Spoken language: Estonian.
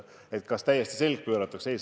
Kas meile täiesti selg pööratakse?